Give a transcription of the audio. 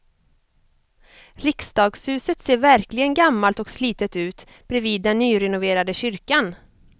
Riksdagshuset ser verkligen gammalt och slitet ut bredvid den nyrenoverade kyrkan.